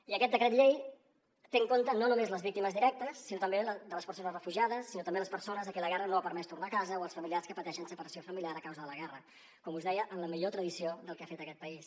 i aquest decret llei té en compte no només les víctimes directes sinó també les persones refugiades sinó també les persones a qui la guerra no ha permès tornar a casa o els familiars que pateixen separació familiar a causa de la guerra com us deia en la millor tradició del que ha fet aquest país